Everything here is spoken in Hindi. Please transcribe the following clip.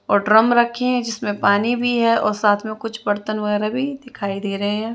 और ड्रम रखे है जिसमें पानी भी है और साथ में कुछ बर्तन वगेरा भी दिखाई दे रहे हैं।